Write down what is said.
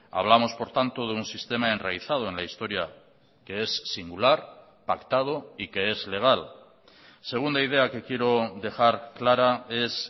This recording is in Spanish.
hablamos por tanto de un sistema enraizado en la historia que es singular pactado y que es legal segunda idea que quiero dejar clara es